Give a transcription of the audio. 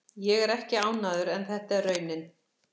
Ég er ekki ánægður en þetta er raunin.